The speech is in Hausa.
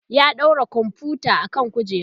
ya ɗaura komfuta akan kujera